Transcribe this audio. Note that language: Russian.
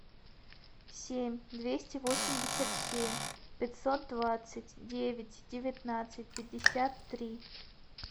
семь двести восемьдесят семь пятьсот двадцать девять девятнадцать пятьдесят три